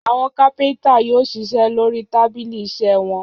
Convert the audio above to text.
Àwọn kápẹ́ńtà yóò ṣiṣẹ́ lórí tábìlì iṣẹ́ wọn.